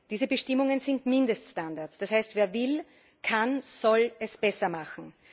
Diese Bestimmungen sind Mindeststandards, das heißt, wer will, der kann und soll es besser machen.